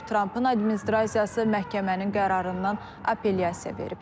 Trampın administrasiyası məhkəmənin qərarından apellyasiya verib.